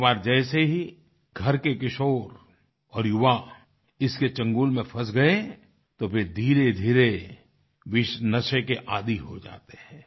एक बार जैसे ही घर के किशोर और युवा इसके चंगुल में फंस गए तो फिर धीरेधीरे वे इस नशे के आदी हो जाते हैं